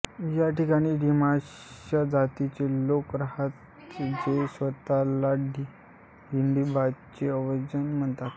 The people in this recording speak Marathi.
या ठिकाणी डिमाशा जातीचे लोक राहतात जे स्वतःला हिडिंबाचे वंशज मानतात